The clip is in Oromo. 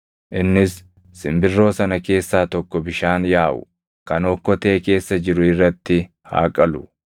Innis simbirroo sana keessaa tokko bishaan yaaʼu kan okkotee keessa jiru irratti haa qalu.